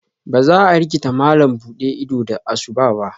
Ba za a rikita malam buɗe ido da asu ba.